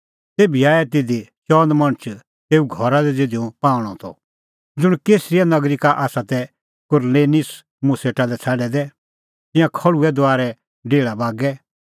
तेभी आऐ तिधी चअन मणछ तेऊ घरा लै ज़िधी हुंह पाहूंणअ त ज़ुंण कैसरिया नगरी का तै कुरनेलिस मुंह सेटा लै छ़ाडै दै तिंयां खल़्हुऐ दुआरे डेहल़ा बागै